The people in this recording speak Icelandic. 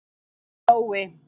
Nói